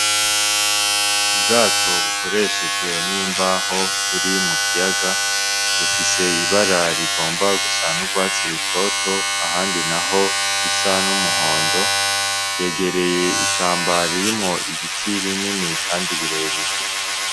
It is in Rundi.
Ubwato bukoreshejwe n'imbaho buri mukiyaga, bufise ibara rihomba gusa n'urwatsi rutoto ahandi naho risa n'umuhondo, bwegereye ishamba ririmwo ibiti binini kandi birebire.